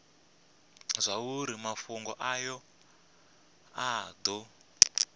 zwauri mafhungo aya a do